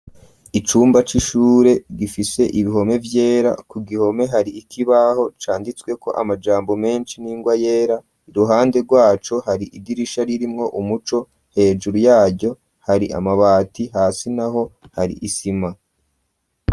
Icumba c'ishure gifise ibihome vyera ku gihome hari ikibaho canditswe ko amajambo menshi n'ingwa yera ruhande rwaco hari igirisha ririmwo umuco hejuru yaryo hari amabati hasi naho hari isima.